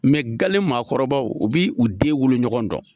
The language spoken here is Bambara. Mɛ gale maakɔrɔbaw u b'i u den wolo ɲɔgɔn dɔn